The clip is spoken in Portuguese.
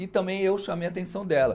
E também eu chamei a atenção dela.